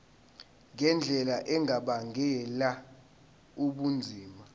ngendlela engabangela ubunzima